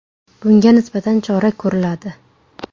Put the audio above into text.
Bunga nisbatan chora ko‘riladi.